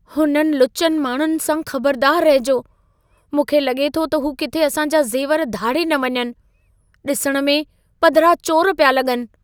हुननि लुचनि माण्हुनि सां ख़बरदारु रहिजो। मूंखे लॻे थो त हू किथे असां जा ज़ेवर धाड़े न वञनि। ॾिसण मे, पधिरा चोर पिया लॻनि।